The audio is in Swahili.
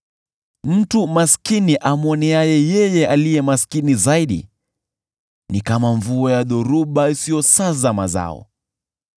Mtu maskini amwoneaye yeye aliye maskini zaidi ni kama mvua ya dhoruba isiyosaza mazao.